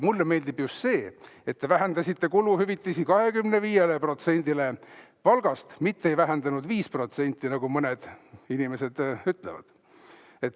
Mulle meeldib just see, et te vähendasite kuluhüvitisi 25%-ni palgast, mitte ei vähendanud 5%, nagu mõned inimesed ütlevad.